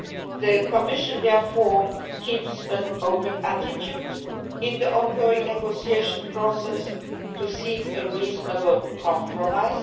The Commission is therefore keeping an open mind in the ongoing negotiation process to seek a reasonable compromise.